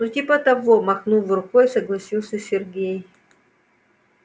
ну типа того махнув рукой согласился сергей